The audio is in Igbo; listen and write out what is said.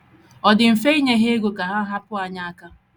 Ọ dị mfe inye ha ego ka ha hapụ anyị aka..